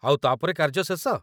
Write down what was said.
ଆଉ ତା'ପରେ କାର୍ଯ୍ୟ ଶେଷ ?